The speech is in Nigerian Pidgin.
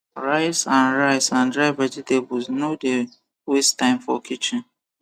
rice and rice and dry vegetables no the waste time for kitchen